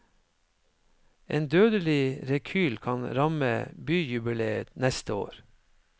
En dødelig rekyl kan ramme byjubileet neste år.